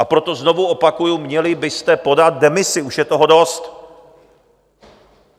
A proto znovu opakuji, měli byste podat demisi, už je toho dost.